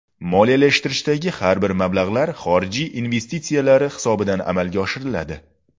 Moliyalashtirishdagi barcha mablag‘lar xorij investitsiyalari hisobidan amalga oshiriladi.